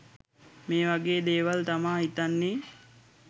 මේ වගේ දේවල් තමා හිතන්නේ